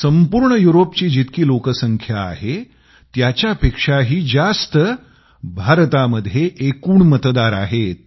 संपूर्ण युरोपची जितकी लोकसंख्या आहे त्यापेक्षाही जास्त भारतामध्ये एकूण मतदार आहेत